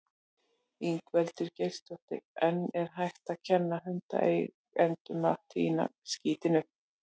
Ingveldur Geirsdóttir: En er hægt að kenna hundaeigendum að tína skítinn upp?